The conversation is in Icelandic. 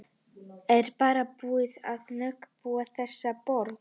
Ég er bara búin að fá nóg af að búa í þessari borg.